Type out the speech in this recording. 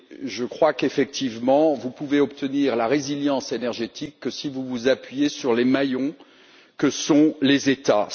Je crois qu'effectivement, vous ne pouvez obtenir la résilience énergétique que si vous vous appuyez sur les maillons que sont les États.